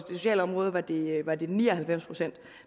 sociale område var det var det ni og halvfems procent